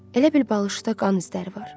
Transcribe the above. Elə bil balışda qan izləri var.